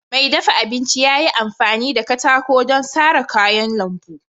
Mai dafa abinci ya yi amfani da katako don sara kayan lambu.